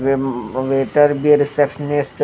receptionist --